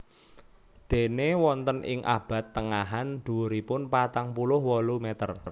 Déné wonten ing abad tengahan dhuwuripun patang puluh wolu meter